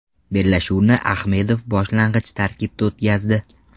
Bellashuvni Ahmedov boshlang‘ich tarkibda o‘tkazdi.